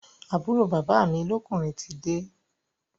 Àbúrò bàbá mi lọ́kùnrin tide